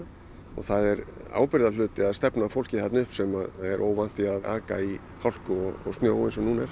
það er ábyrgðarhluti að stefna fólki þarna upp sem er óvant því að aka í hálku og snjó eins og nú er